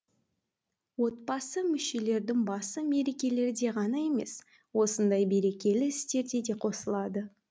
отбасы мүшелерінің басы мерекелерде ғана емес осындай берекелі істерде де қосылады